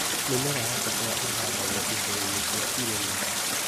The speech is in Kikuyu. Mĩmera ya kahũa ĩhandagwo icigo-inĩ cia irĩma